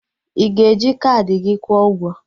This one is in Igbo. Ị ga-eji kaadị gị kwuo ụgwọ?